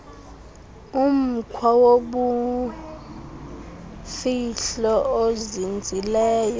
umkhwa wobumfihlo ozinzileyo